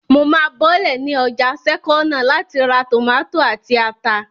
Mo máa bọ́lẹ̀ ní ọjà sẹ́kọ́nà láti ra tòmátò àti ata